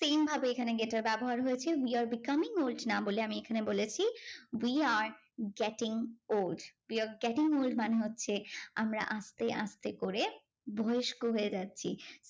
Same ভাবে এখানে get এর ব্যবহার হয়েছে। we are becoming old না বলে আমি এখানে বলেছি we are getting old. we are getting old. মানে হচ্ছে আমরা আসতে আসতে করে বয়স্ক হয়ে যাচ্ছি।